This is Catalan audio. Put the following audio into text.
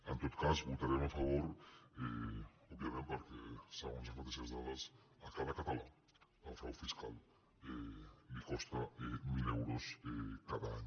en tot cas hi votarem a favor òbviament perquè se·gons les mateixes dades a cada català el frau fiscal li costa mil euros cada any